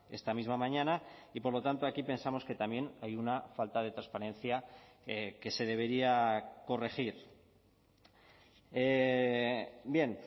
esta misma mañana y por lo tanto aquí pensamos que también hay una falta de transparencia que se debería corregir bien